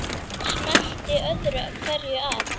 Smellti öðru hverju af.